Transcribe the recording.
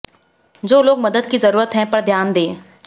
जो लोग मदद की ज़रूरत है पर ध्यान दें